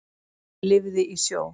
Lifði í sjó.